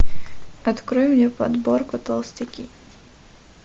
открой мне подборку толстяки